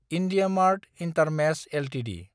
IndiaMART intermesh Ltd